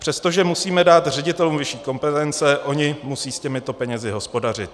Přestože musíme dát ředitelům vyšší kompetence, oni musí s těmito penězi hospodařit.